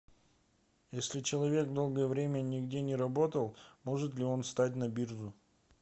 если человек долгое время нигде не работал может ли он встать на биржу